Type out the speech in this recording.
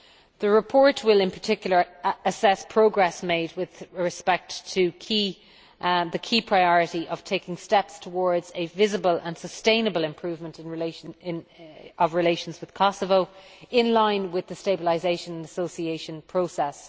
The report will in particular assess progress made with respect to the key priority of taking steps towards a visible and sustainable improvement of relations with Kosovo, in line with the stabilisation and association process.